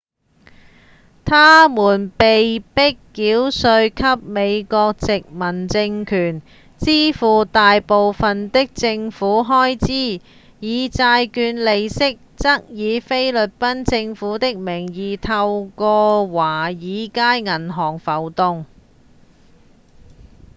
他們被迫繳稅給美國殖民政權支付大部分的政府開支而債券利息則以菲律賓政府的名義透過華爾街銀行浮動